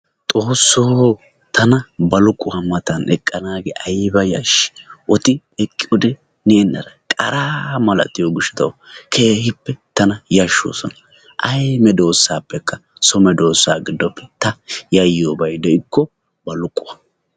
Xoossoo tana baluquqa matan eqqanaage ayiba yashshii! Odin eqqiyode neennara qaraa malatiyo gishatawu keehippe tana yashshoosona. Ayi medoosappekka so medoosa giddoppe ta yayiyobay de"ikko baluquwa.